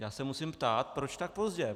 Já se musím ptát, proč tak pozdě.